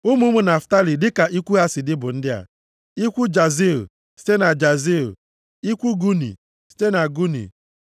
Ụmụ ụmụ Naftalị dịka ikwu ha si dị bụ ndị a: ikwu Jaziil, site na Jaziil, ikwu Guni, site na Guni,